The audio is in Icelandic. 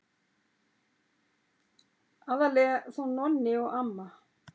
Aðallega þó Nonni og amma.